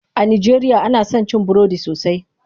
A najeriya ana son cin burodi sosai.